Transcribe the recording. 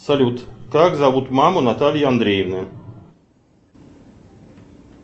салют как зовут маму натальи андреевны